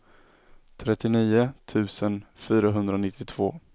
trettionio tusen fyrahundranittiotvå